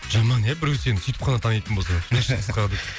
жаман ия біреу сені сөйтіп қана танитын болса шашы қысқа деп